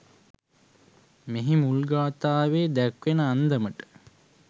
මෙහි මුල් ගාථාවේ දැක්වෙන අන්දමට